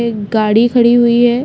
एक गाड़ी खड़ी हुई है।